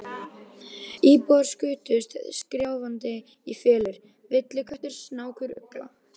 Íbúarnir skutust skrjáfandi í felur: villiköttur, snákur, ugla.